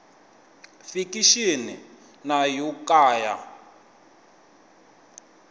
fikixini na yo ka ya